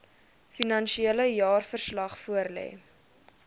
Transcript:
finansiële jaarverslag voorlê